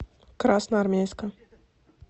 красноармейска